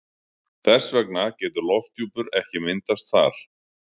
Þess vegna getur lofthjúpur ekki myndast þar.